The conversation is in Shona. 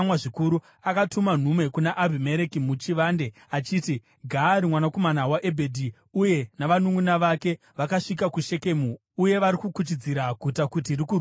Akatuma nhume kuna Abhimereki muchivande achiti, “Gaari mwanakomana waEbhedhi uye navanunʼuna vake vakasvika kuShekemu uye vari kukuchidzira guta kuti rikurwisei.